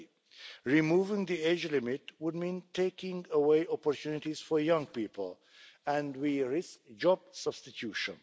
30. Removing the age limit would mean taking away opportunities for young people and we risk job substitution.